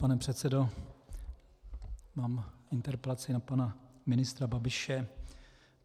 Pane předsedo, mám interpelaci na pana ministra Babiše.